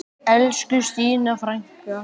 Elsku Stína frænka.